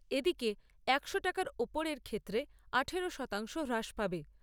এদিকে একশো টাকার ওপরের ক্ষেত্রে আঠারো শতাংশ হ্রাস পাবে।